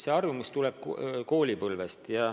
See harjumus tuleb koolipõlvest.